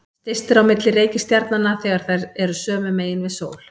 Styst er á milli reikistjarnanna þegar þær eru sömu megin við sól.